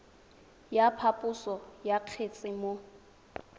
ya phaposo ya kgetse mo